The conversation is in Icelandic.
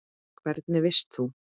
Hvernig veist þú?